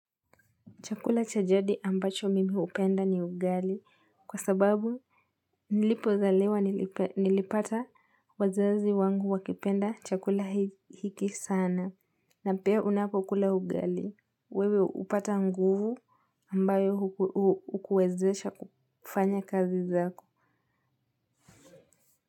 Chakula chajadi ambacho mimi upenda ni ugali kwa sababu nilipozaliwa nilipata wazazi wangu wakipenda chakula hiki sana na pia unapokula ugali wewe upata nguvu ambayo hukuwezesha kufanya kazi zako.